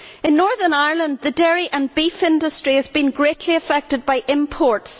In Northern Ireland, the dairy and beef industry has been greatly affected by imports.